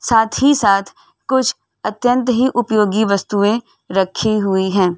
साथ ही साथ कुछ अत्यंत ही उपयोगी वस्तुए रखी हुई हैं।